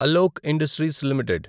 Alok industries limited